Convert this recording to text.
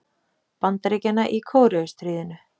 Bandaríkjanna í Kóreustríðinu.